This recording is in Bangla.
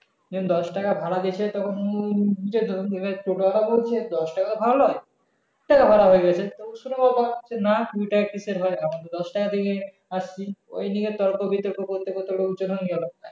উনি দশ টাকা ভাড়া দিয়েছে তখন টোটো আলা বলছে দশ টাকা ভাড়া লয় হয়ে গাছে হয় না দশ টাকা দিয়েই আসছি ওই নিয়ে তর্ক বিতর্ক করতে করতে